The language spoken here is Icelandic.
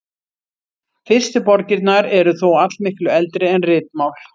Fyrstu borgirnar eru þó allmiklu eldri en ritmál.